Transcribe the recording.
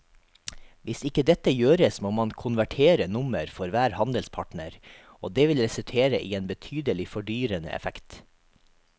Hvis ikke dette gjøres må man konvertere nummer for hver handelspartner og det vil resultere i en betydelig fordyrende effekt.